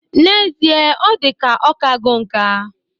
N'ezie, ọ dịka ọkago nka